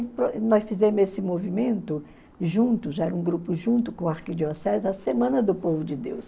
Nós fizemos esse movimento juntos, era um grupo junto com o Arquidiocese, a Semana do Povo de Deus.